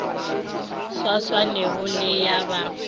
sa swanego le ya ba